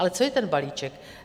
Ale co je ten balíček?